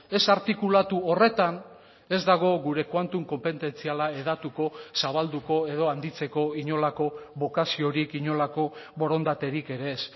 ez artikulatu horretan ez dago gure quantum konpetentziala hedatuko zabalduko edo handitzeko inolako bokaziorik inolako borondaterik ere ez